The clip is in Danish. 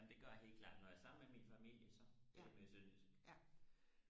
jamen det gør jeg helt klart når jeg er sammen med min familie så taler jeg sønderjysk